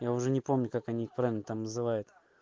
я уже не помню как они их правильно там называют